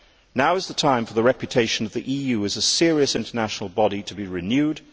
Now is the time for the reputation of the EU as a serious international body to be renewed.